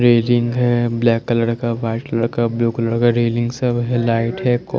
railing हैं black colour का white colour का ब्लू कलर का रेलिंग सब हैं लाइट क--